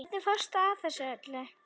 Hvernig fórstu að þessu öllu?